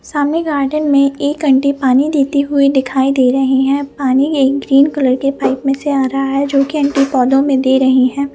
सामने गार्डन में एक आंटी पानी देते हुए दिखाई दे रही हैं पानी एक ग्रीन कलर के पाइप में से आया रहा है जोकि आंटी पौधों में दे रही हैं।